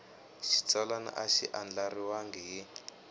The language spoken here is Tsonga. xitsalwana a xi andlariwangi hi